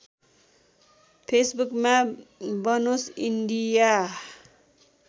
फेसबुकमा बनोस् इन्डिया